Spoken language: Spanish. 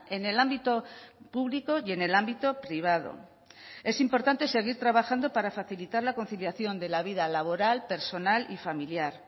en el ámbito público y en el ámbito privado es importante seguir trabajando para facilitar la conciliación de la vida laboral personal y familiar